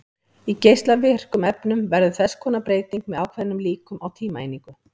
Í geislavirkum efnum verður þess konar breyting með ákveðnum líkum á tímaeiningu.